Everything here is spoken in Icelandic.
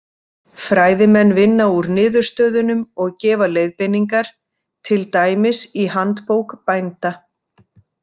Fræðimenn vinna úr niðurstöðunum og gefa leiðbeiningar, til dæmis í Handbók bænda.